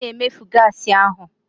Ị na-emefu gaasị ahụ.